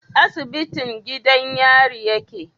Asibitin gidan yari yake?